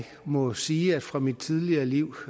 må sige at jeg fra mit tidligere liv